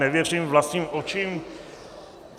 Nevěřím vlastním očím.